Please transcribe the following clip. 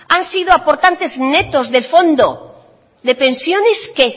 han sido aportantes netos del fondo de pensiones qué